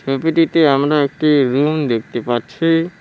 ছবিটিতে আমরা একটি রুম দেখতে পাচ্ছি।